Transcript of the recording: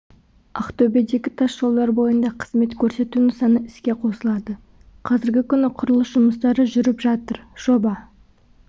ақтөбедегі тас жолдар бойында қызмет көрсету нысаны іске қосылады қазіргі күні құрылыс жұмыстары жүріп жатыр жоба